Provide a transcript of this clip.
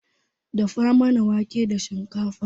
Dafa mana wanke da shikafa